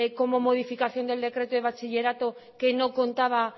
como modificación del decreto de bachillerato que no contaba